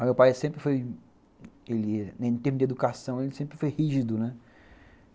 Mas meu pai sempre foi, em termos de educação, ele sempre foi rígido, né.